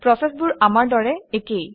প্ৰচেচবোৰ আমাৰ দৰে একেই